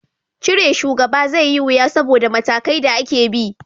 Cire shugaba zai yi wuya saboda matakai da ake bi